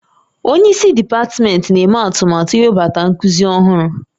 Onye isi dipatmentị na-eme atụmatụ iwebata nkuzi ọhụrụ